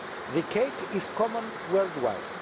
The cake is common worldwide.